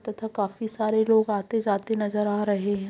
तथा काफी सारे लोग आते जाते नजर आ रहे हैं ।